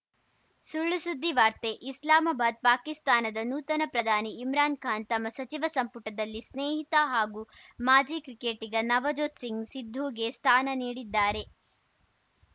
ಸುಳ್ಳುಸುದ್ದಿ ವಾರ್ತೆ ಇಸ್ಲಾಮಾಬಾದ್‌ ಪಾಕಿಸ್ತಾನದ ನೂತನ ಪ್ರಧಾನಿ ಇಮ್ರಾನ್‌ ಖಾನ್‌ ತಮ್ಮ ಸಚಿವ ಸಂಪುಟದಲ್ಲಿ ಸ್ನೇಹಿತ ಹಾಗೂ ಮಾಜಿ ಕ್ರಿಕೆಟಿಗ ನವಜೋತ್‌ ಸಿಂಗ್‌ ಸಿಧುಗೆ ಸ್ಥಾನ ನೀಡಿದ್ದಾರೆ